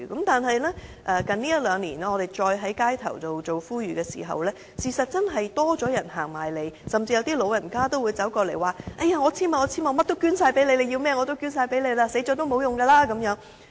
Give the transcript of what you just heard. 但是，這一兩年，我們再在街頭做呼籲的時候，的確多了市民自己走過來，甚至有長者走過來說："我簽署，甚麼都捐，你要甚麼我都捐，死後也沒有用"。